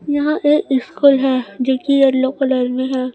यहां एक स्कूल है जो की येलो कलर में है।